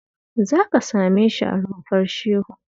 Za ka same shi a Rumfar Shehu